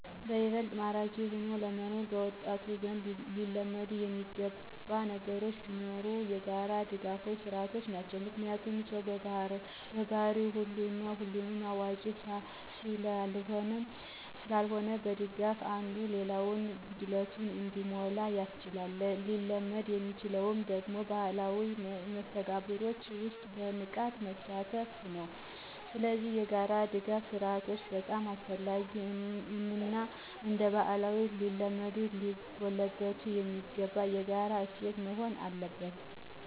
ይበልጥ ማራኪ ሆኖ ለመኖር በወጣቱ ዘንድ ሊለመድ የሚገባ ነገር ቢኖር የጋራ ድጋፍ ስርዓቶች ናቸው። ምክንያቱም ሰው በባህሪው ሙሉ እና ሁሉን አዋቂ ስላልሆነ መደጋገፉ አንዱ የሌላውን ጉድለት እንዲሞላ ያስችላል። ሊለመድ የሚችለው ደግሞ በማህበራዊ መስተጋብሮች ውስጥ በንቃት በመሳተፍ ነው። ስለዚህ የጋራ ድጋፍ ስርአቶች በጣም አስፈላጊ እና እንደባህልም ሊለመድ ሊጎለበት የሚገባው የጋራ እሴት መሆን አለበት።